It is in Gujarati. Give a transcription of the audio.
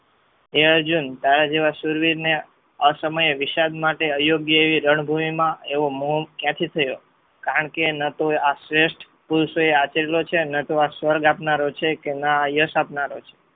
હે અર્જુન તારા જેવા શૂરવીર ને અસમયે વિશાળ માટે અયોગ્ય એ રણભૂમિ માં એવો મોહ ક્યાંથી થયો કારણકે એના તો આ શ્રેષ્ઠ પુરુષોએ આપેલો છે એમને તો સ્વર્ગ આપનારો છે કે ના યશ આપનારો છે.